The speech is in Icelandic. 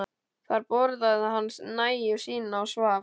Þar borðaði hann nægju sína og svaf.